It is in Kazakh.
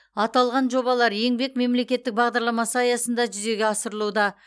аталған жобалар еңбек мемлекеттік бағдарламасы аясында жүзеге асырылуда